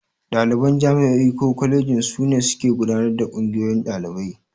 Ɗaliban jami'o'i ko kwalejoji su ne suke gudanar da Ƙungiyoyin Ɗalibai.